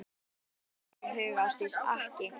Þér hefur aldrei dottið það í hug Ásdís, ekki.